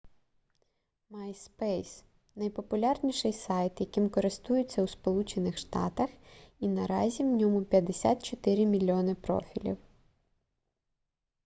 myspace найпопулярніший сайт яким користуються у сполучених штатах і наразі в ньому 54 мільйони профілів